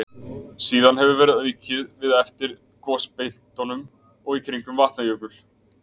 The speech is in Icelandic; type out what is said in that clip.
Síðan hefur verið aukið við það eftir gosbeltunum og í kringum Vatnajökul.